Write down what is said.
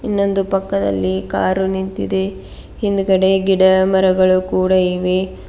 ಇನ್ನೊಂದು ಪಕ್ಕದಲ್ಲಿ ಕಾರು ನಿಂತಿದೆ ಹಿಂದ್ಗಡೆ ಗಿಡ ಮರಗಳು ಕೂಡ ಇವೆ.